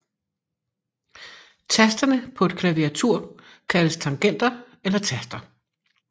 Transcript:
Tasterne på et klaviatur kaldes tangenter eller taster